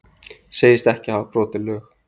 Segist ekki hafa brotið lög